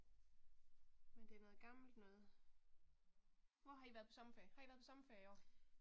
Men det er noget gammelt noget. Hvor har I været på sommerferie, har I været på sommerferie i år?